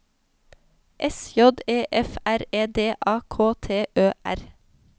S J E F R E D A K T Ø R